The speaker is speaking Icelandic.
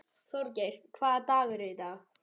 Þorgeir, hvaða dagur er í dag?